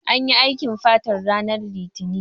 Anyi aikin fatar ranar litinin